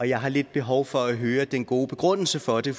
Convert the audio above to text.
jeg har lidt behov for at høre den gode begrundelse for det